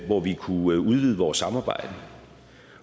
hvor vi kunne udvide vores samarbejde